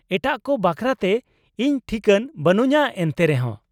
-ᱮᱴᱟᱜ ᱠᱚ ᱵᱟᱠᱷᱨᱟᱛᱮ ᱤᱧ ᱴᱷᱤᱠᱟᱹᱱ ᱵᱟᱹᱱᱩᱧᱟᱹ ᱮᱱᱛᱮᱨᱮᱦᱚᱸ ᱾